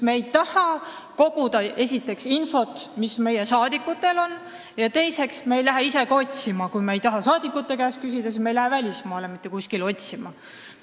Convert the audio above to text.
Me ei taha esiteks koguda kokku seda infot, mis meie saadikutel olemas on, ja kui me ei taha seda saadikute käest küsida, siis ei lähe me ka kuskile välismaale seda otsima.